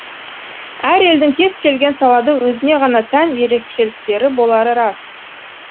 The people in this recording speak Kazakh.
әр елдің кез келген салада өзіне ғана тән ерекшеліктері болары рас